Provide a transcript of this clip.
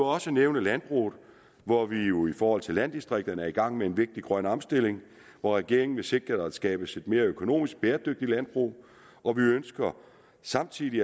også nævne landbruget hvor vi jo i forhold til landdistrikterne er i gang med en vigtig grøn omstilling hvor regeringen vil sikre at der skabes et mere økonomisk bæredygtigt landbrug og vi ønsker samtidig